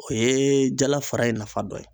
O ye jala fara ye nafa dɔ ye.